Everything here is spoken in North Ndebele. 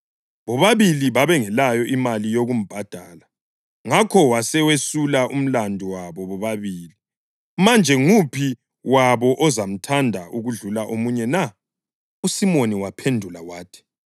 Bobabili babengelayo imali yokumbhadala, ngakho wasewesula umlandu wabo bobabili. Manje nguphi wabo ozamthanda okudlula omunye na?”